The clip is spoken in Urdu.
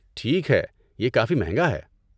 ٹھیک ہے۔ یہ کافی مہنگا ہے۔